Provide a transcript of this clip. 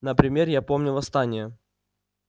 например я помню восстание